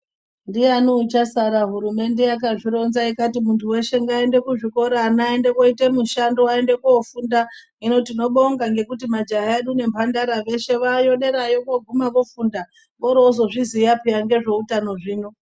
Ndiyani uchasara hurumende yakazvironza kuti mundu weshe ngaende kuzvikora ana aende koite mushando aende kofunda. Hino tinobonga ngekuti majaha edu nemhandara weshe wayo derayo voguma vofunda vozviziya peya ngezveutano zvino.